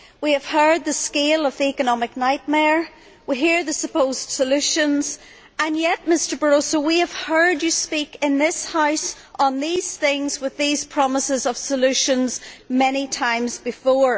We have heard the scale of the economic nightmare, we hear the supposed solutions, and yet, Mr Barroso, we have heard you speak in this House on these things with these promises of solutions many times before.